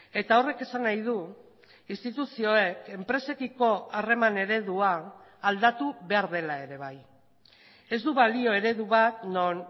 eta horrek esan nahi du instituzioek enpresekiko harreman eredua aldatu behar dela ere bai ez du balio eredu bat non